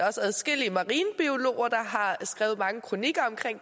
også adskillige marinebiologer der har skrevet mange kronikker